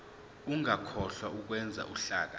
ungakhohlwa ukwenza uhlaka